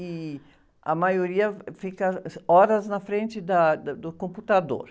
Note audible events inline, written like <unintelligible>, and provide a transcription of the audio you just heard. E a maioria fica <unintelligible> horas na frente da, da, do computador.